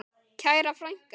Kæra frænka.